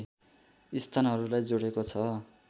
स्थानहरूलाई जोडेको छ